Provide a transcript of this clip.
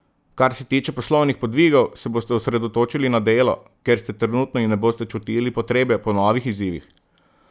Kar se tiče poslovnih podvigov, se boste osredotočili na delo, kjer ste trenutno in ne boste čutili potrebe po novih izzivih.